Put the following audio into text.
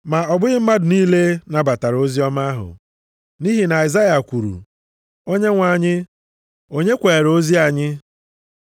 Ma ọ bụghị mmadụ niile nabatara oziọma ahụ. Nʼihi na Aịzaya kwuru, “Onyenwe anyị, onye kweere ozi anyị?” + 10:16 \+xt Aịz 53:1\+xt*